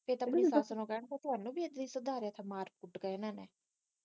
ਕਿਹੇ ਦਿਨ ਆਪਣੀ ਸੱਸ ਨੂੰ ਕਹਿ ਹਾਂ ਤੁਹਾਨੂੰ ਵੀ ਏਦਾਂ ਈ ਸੁਧਾਰਿਆ ਥਾ ਮਾਰ ਕੁੱਟ ਕੇ ਇਹਨਾਂ ਨੇ